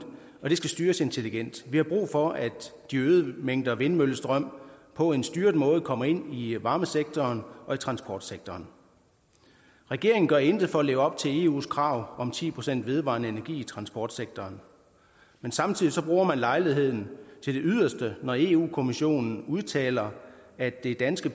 og det skal styres intelligent vi har brug for at de øgede mængder vindmøllestrøm på en styret måde kommer ind i varmesektoren og i transportsektoren regeringen gør intet for at leve op til eus krav om ti procent vedvarende energi i transportsektoren men samtidig bruger man lejligheden til det yderste når europa kommissionen udtaler at det danske